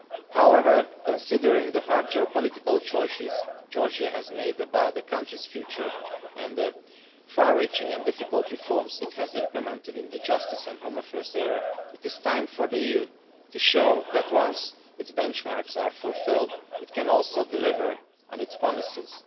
However, considering the hard geo political choices Georgia has made about the country's future and the far reaching and difficult reforms it has implemented in the Justice and Home Affairs area, it is time for the EU to show that once its benchmarks are fulfilled, it can also deliver on its promises.